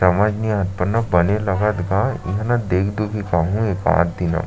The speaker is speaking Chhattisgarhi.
समझ नई आत पर न बने लगत गा इहाँ न देख दुखिक आहू एकाददिन अब--